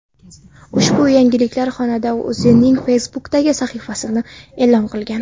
Ushbu yangilikni xonanda o‘zining Facebook’dagi sahifasida e’lon qilgan .